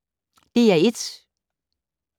DR1